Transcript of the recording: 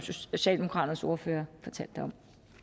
socialdemokraternes ordfører fortalte om